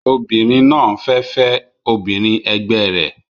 Obìnrin náà fẹ́ fẹ́ obìnrin ẹgbẹ rẹ̀